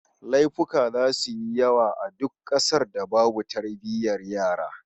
Laifuka zasu yi yawa a duk kasar da babu tarbiyyar yara